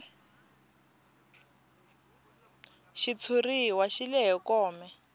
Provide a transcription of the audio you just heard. xitshuriwa xi lehe kome